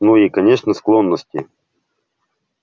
ну и конечно склонности